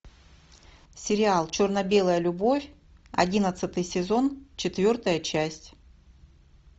сериал черно белая любовь одиннадцатый сезон четвертая часть